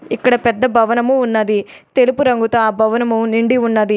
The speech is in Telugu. ఇక్కడ పెద్ద భవనము ఉన్నది. తెలుపు రంగుతో ఆ భవనము నిండి ఉన్నది.